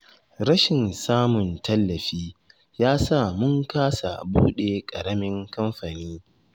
Rashin samun tallafi, ya sa mun kasa buɗe ƙaramin kamfani.